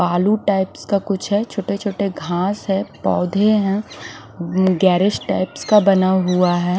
आलू टाइप्स का कुछ है छोटे-छोटे घास है पौधे हैं गेरेज टाइप का बना हुआ है।